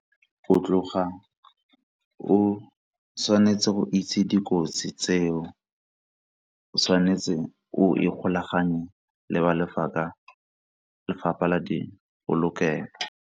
Go tloga o tshwanetse go itse dikotsi tseo, o tshwanetse o ikgolaganye le ba lefapha la di polokelo.